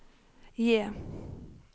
J